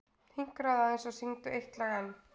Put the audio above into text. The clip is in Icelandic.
Hinkraðu aðeins og syngdu eitt lag enn.